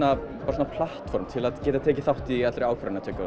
svona platform til að geta tekið þátt í allri ákvarðanatöku og